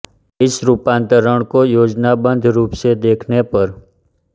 इस रूपांतरण को योजनाबद्ध रूप से देखने पर